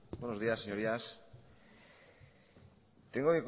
buenos días señorías tengo